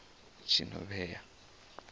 tshinovhea